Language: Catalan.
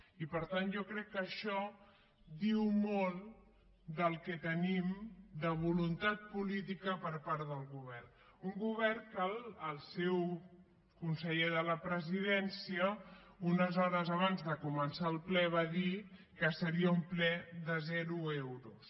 i per tant jo crec que això diu molt del que tenim de voluntat política per part del govern un govern que el seu conseller de la presidència unes hores abans de començar el ple va dir que seria un ple de zero euros